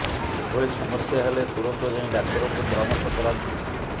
ଏଭଳି ସମସ୍ୟା ହେଲେ ତୁରନ୍ତ ଯାଇ ଡ଼ାକ୍ତରଙ୍କୁ ପରାମର୍ଶ କରାନ୍ତୁ